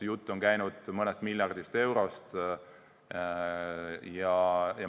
Jutt on käinud mõnest miljardist eurost.